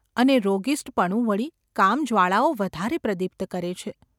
અને રોગિસ્ટપણું વળી કામજ્વાળાઓ વધારે પ્રદીપ્ત કરે છે.